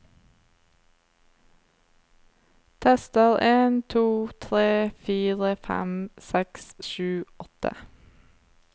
Tester en to tre fire fem seks sju åtte